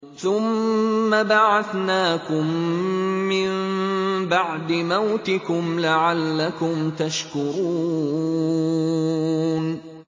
ثُمَّ بَعَثْنَاكُم مِّن بَعْدِ مَوْتِكُمْ لَعَلَّكُمْ تَشْكُرُونَ